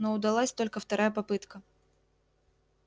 но удалась только вторая попытка